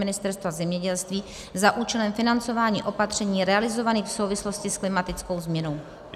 Ministerstva zemědělství za účelem financování opatření realizovaných v souvislosti s klimatickou změnou."